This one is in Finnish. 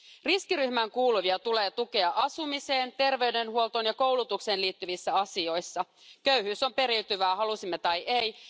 Riskiryhmään kuuluvia tulee tukea asumiseen, terveydenhuoltoon ja koulutukseen liittyvissä asioissa köyhyys on periytyvää, halusimme tai emme.